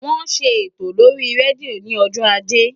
Wọ́n ṣe ètò lórí rédíò ní ọjọ́ ajé.